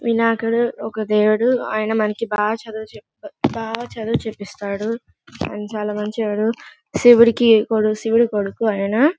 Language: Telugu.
వినాయకుడు ఒక దేవుడు. అయన మనకి బా చదువు చేప్తే బా చదువు చెప్పిస్తాడు.అయన చాల మంచోడు. శివుని శివుడు కొడుకు అయన--